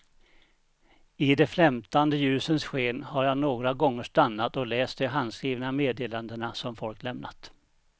I de flämtande ljusens sken har jag några gånger stannat och läst de handskrivna meddelandena som folk lämnat.